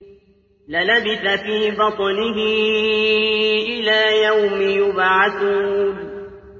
لَلَبِثَ فِي بَطْنِهِ إِلَىٰ يَوْمِ يُبْعَثُونَ